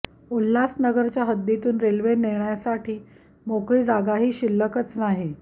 उल्हासनगरच्या हद्दीतून रेल्वे नेण्यासाठी मोकळी जागाही शिल्लकच नाही